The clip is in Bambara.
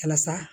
Walasa